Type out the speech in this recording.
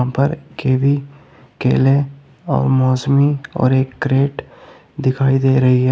यहां पर कीवी केले और मौसमी और एक क्रेट दिखाई दे रही है।